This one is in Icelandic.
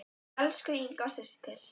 Elsku Inga systir.